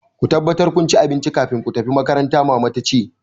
Ku tabbatar kun ci abinci kafin ku tafi makaranta! Maman ta ce.